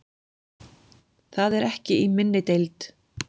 Það er ekki í minni deild.